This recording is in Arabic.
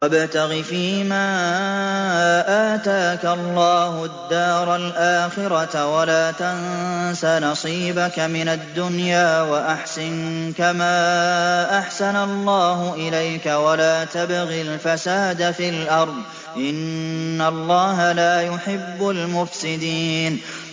وَابْتَغِ فِيمَا آتَاكَ اللَّهُ الدَّارَ الْآخِرَةَ ۖ وَلَا تَنسَ نَصِيبَكَ مِنَ الدُّنْيَا ۖ وَأَحْسِن كَمَا أَحْسَنَ اللَّهُ إِلَيْكَ ۖ وَلَا تَبْغِ الْفَسَادَ فِي الْأَرْضِ ۖ إِنَّ اللَّهَ لَا يُحِبُّ الْمُفْسِدِينَ